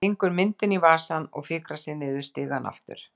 Hann stingur myndinni í vasann og fikrar sig niður stigann aftur.